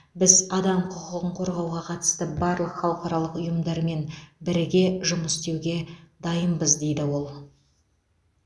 біз адам құқығын қорғауға қатысты барлық халықаралық ұйымдармен біріге жұмыс істеуге дайынбыз дейді ол